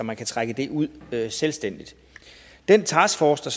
man kan trække det ud selvstændigt den taskforce der